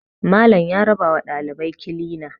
Malam ya rabawa ɗalibai kilina